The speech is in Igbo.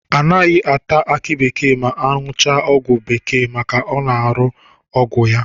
Anaghị ata aki bekee ma aṅụchaa ọgwụ bekee maka ọ na-arụ ya.